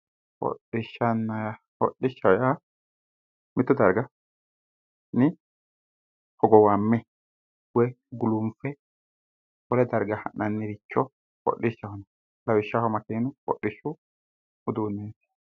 Hodhashshanna, hodhishshaho yaa mittu darginni hogowamme woy gulunfe wole darga ha'nanniricho hodhishshaho yinanni. Lawishshaho makiinu hodhishshu uduunneeti.